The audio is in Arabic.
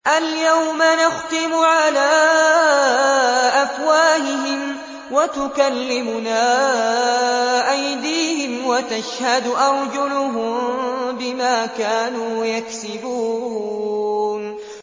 الْيَوْمَ نَخْتِمُ عَلَىٰ أَفْوَاهِهِمْ وَتُكَلِّمُنَا أَيْدِيهِمْ وَتَشْهَدُ أَرْجُلُهُم بِمَا كَانُوا يَكْسِبُونَ